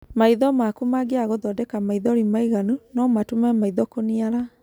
Maitho maku mangĩaga gũthondeka maithori maiganu, no matũme maitho kũniara.